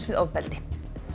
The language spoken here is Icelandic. við ofbeldi